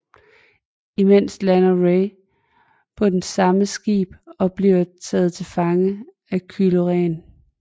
Imens lander Rey på det samme skib og bliver taget til fange af Kylo Ren